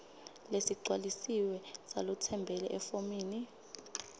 lesigcwalisiwe salotsembele efomini